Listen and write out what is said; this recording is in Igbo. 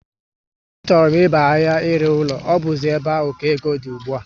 Á chọrọ m ịba ahia ire ụlọ, ọ buzi ébé áhù ka égo dị ùgbúà